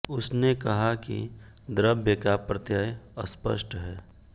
उसने कहा कि द्रव्य का प्रत्यय अस्पष्ट है